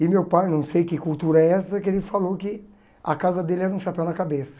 E meu pai, não sei que cultura é essa, que ele falou que a casa dele era um chapéu na cabeça.